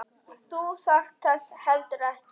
Þú þarft þess heldur ekki.